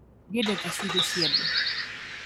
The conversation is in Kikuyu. Ndiendete ciugo cia andũ